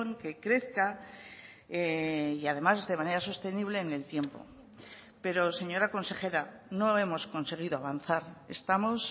que crezca y además de manera sostenible en el tiempo pero señora consejera no hemos conseguido avanzar estamos